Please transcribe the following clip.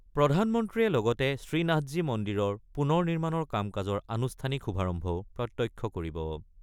প্ৰধানমন্ত্ৰীয়ে লগতে শ্ৰীনাথজী মন্দিৰৰ পুনৰ নিৰ্মাণৰ কাম-কাজৰ আনুষ্ঠানিক শুভাৰম্ভও প্ৰত্যক্ষ কৰিব।